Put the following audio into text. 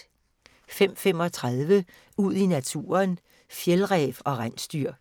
05:35: Ud i naturen: Fjeldræv og rensdyr